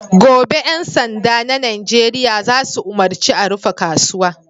Gobe, ƴan sanda na Nijeriya za su umarci a rufe kasuwa!"